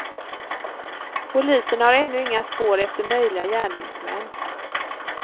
Polisen har ännu inga spår efter möjliga gärningsmän.